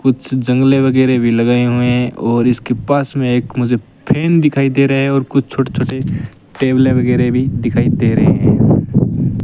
कुछ जंगले वगैरह भी लगाए हुए हैं और इसके पास में एक मुझे फैन दिखाई दे रहा है और कुछ छोटे छोटे टेबलें वगैरह भी दिखाई दे रहे हैं।